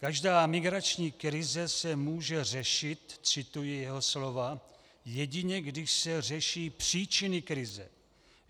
Každá migrační krize se může řešit, cituji jeho slova, jedině když se řeší příčiny krize.